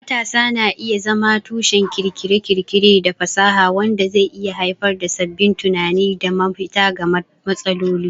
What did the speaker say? Matasa na iya zama tushen kirkire-kirkire da fasaha, wanda zai iya haifar da sabbin tunani da mafita ga matsaloli.